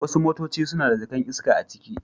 Wasu motaci suna da jaka'n iska a ciki.